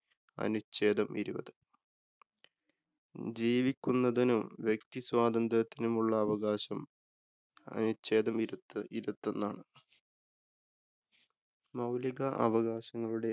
അനുച്ഛേദം ഇരുപത്. ജീവിക്കുന്നതിനും വ്യക്തി സ്വാതന്ത്രത്തിനുമുള്ള അവകാശം അനുച്ഛേദം ഇരുപത് ഇരൌത്തോന്നാണ്. മൌലിക അവകാശങ്ങളുടെ